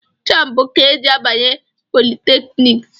Jambu ka e ji abanye politekniks